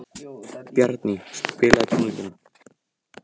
Bjarný, spilaðu tónlist.